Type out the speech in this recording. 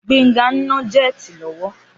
Gbénga ń ná jẹ́ẹ̀tì lọ́wọ́.